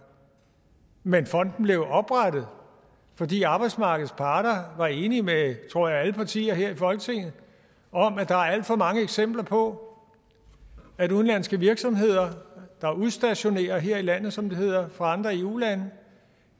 men fonden blev jo oprettet fordi arbejdsmarkedets parter var enige med tror jeg alle partier her i folketinget om at der er alt for mange eksempler på at udenlandske virksomheder der udstationerer her i landet som det hedder fra andre eu lande